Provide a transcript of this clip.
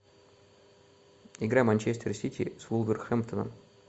игра манчестер сити с вулверхэмптоном